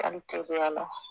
Taali teliya la